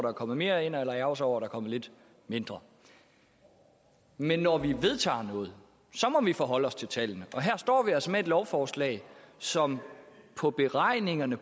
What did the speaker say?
er kommet mere eller ærgre sig over er kommet lidt mindre men når vi vedtager noget så må vi forholde os til tallene og her står vi altså med et lovforslag som på beregningerne